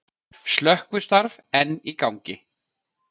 Slökkvistarf enn í gangi